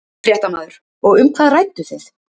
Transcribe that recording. Fréttamaður: Og um hvað rædduð þið?